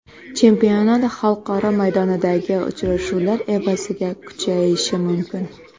Chempionat xalqaro maydondagi uchrashuvlar evaziga kuchayishi mumkin.